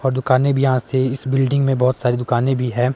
और दुकानें भी यहां से इस बिल्डिंग में बहुत सारी दुकानें भी हैं।